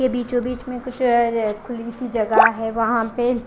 ये बीचो बीच आह आहा खुली सी जगह है वाहा पे--